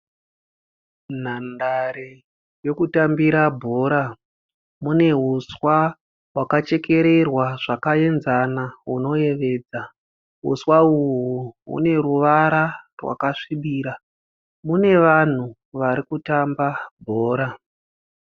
Nhandare yokutambira bhora. Mune huswa hwakachekererwa zvakaenzana hunoyevedza. Huswa uhu hune ruvara rwakasvibira. Mune vanhu varikutamba bhora.